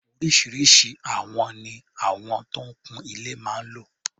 Oríṣiríṣi àwọn ni àwọn tó ń kun ilé máa ń lò.